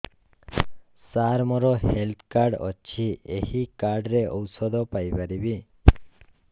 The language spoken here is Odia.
ସାର ମୋର ହେଲ୍ଥ କାର୍ଡ ଅଛି ଏହି କାର୍ଡ ରେ ଔଷଧ ପାଇପାରିବି